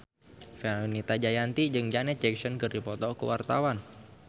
Fenita Jayanti jeung Janet Jackson keur dipoto ku wartawan